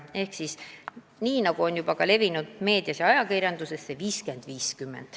Ehk siis, nagu on juba ka meedias tutvustatud, skeem 50 : 50.